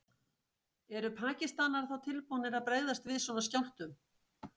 Eru Pakistanar þá tilbúnir að bregðast við svona skjálftum?